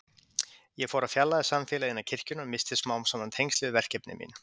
Ég fór að fjarlægjast samfélagið innan kirkjunnar og missti smám saman tengslin við verkefni mín.